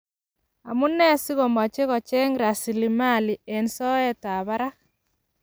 Amu nee si ko machei kocheng raslimali eng soetab barak?